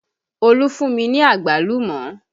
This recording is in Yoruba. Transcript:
Olú fún mi ní àgbálùmọ́